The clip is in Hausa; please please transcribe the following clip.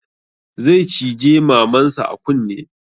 Zai cije maman sa a kunne